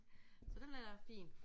Så den er da fin